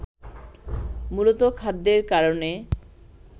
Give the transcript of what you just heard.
মূলতঃ খাদ্যের কারণে